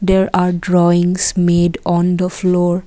there are drawings made on the floor.